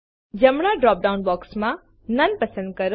જમણાં drop down બોક્સમાં નોને પસંદ કરો